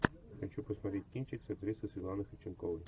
хочу посмотреть кинчик с актрисой светланой ходченковой